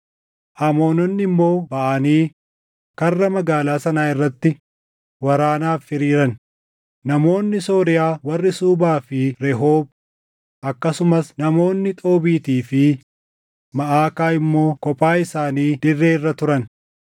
Amoononni immoo baʼanii karra magaalaa sanaa irratti waraanaaf hiriiran; namoonni Sooriyaa warri Suubaa fi Rehoob, akkasumas namoonni Xoobiitii fi Maʼakaa immoo kophaa isaanii dirree irra turan.